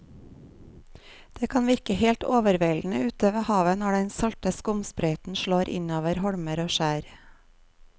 Det kan virke helt overveldende ute ved havet når den salte skumsprøyten slår innover holmer og skjær.